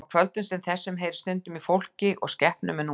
Á kvöldum sem þessu heyrðist stundum í fólki og skepnum en nú var þögn.